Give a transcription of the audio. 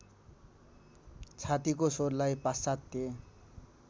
छातीको स्वरलाई पाश्चात्य